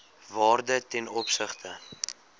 waarde ten opsigte